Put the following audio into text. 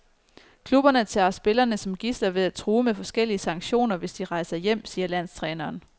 Klubberne tager spillerne som gidsler ved at true med forskellige sanktioner, hvis de rejser hjem, siger landstræneren.